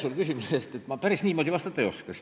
Ega ma sulle päris hästi vastata ei oska.